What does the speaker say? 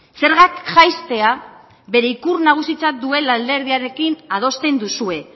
zergak jaistea bere ikur nagusitzat duen alderdiarekin adosten duzue